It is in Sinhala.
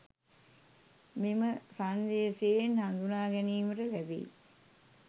මෙම සන්දේශයෙන් හඳුනා ගැනීමට ලැබෙයි.